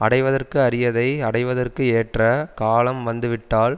அடைவதற்கு அரியதை அடைவதற்கு ஏற்ற காலம் வந்து விட்டால்